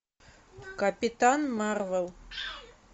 капитан марвел